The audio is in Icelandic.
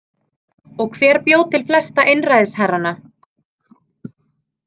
Og hver bjó til flesta einræðisherrana?